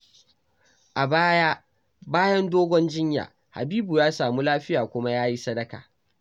A baya, bayan dogon jinya, Habibu ya samu lafiya kuma ya yi sadaka.